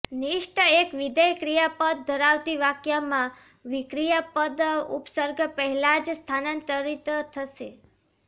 નિચ્ટ એક વિધેય ક્રિયાપદ ધરાવતી વાક્યમાં ક્રિયાપદ ઉપસર્ગ પહેલાં જ સ્થાનાંતરિત થશે